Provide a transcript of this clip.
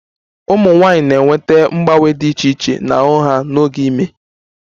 Ụmụ nwanyị na-enweta mgbanwe dị iche iche n'ahụ ha n'oge ime